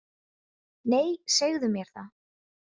Nei, segðu mér það